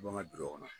Bɔn ŋa kɔnɔ